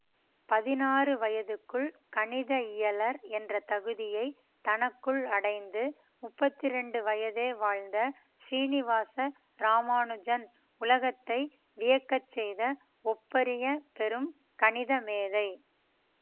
பதினாறு வயதுக்குள் கணித இயலர் என்ற தகுதியை தனக்குள் அடைந்து முப்பத்தி இரண்டு வயதே வாழ்ந்த சீனிவாச இராமானுஜன் உலகத்தை வியக்கச் செய்த ஒப்பரிய பெரும் கணித மேதை